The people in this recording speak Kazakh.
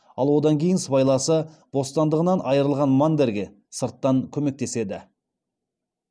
ал одан кейін сыбайласы бостандығынан айырылған мандерге сырттан көмектеседі